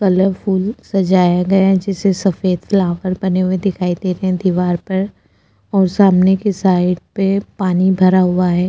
Colourful सजाया गया जिसे सफेद फ्लावर बने हुए दिखाई देते हैं दीवार पर और सामने के साइड पे पानी भरा हुआ है।